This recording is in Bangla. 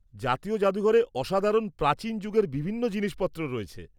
জাতীয় জাদুঘরে অসাধারণ প্রাচীন যুগের বিভিন্ন জিনিসপত্র রয়েছে।